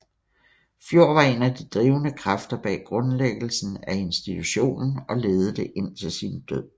Fjord var en af de drivende kræfter bag grundlæggelsen af institutionen og ledede det indtil sin død